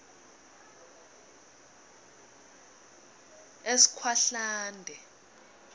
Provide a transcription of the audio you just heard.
eskhwahlande